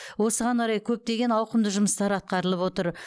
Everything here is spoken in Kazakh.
осыған орай көптеген ауқымды жұмыстар атқарылып отыр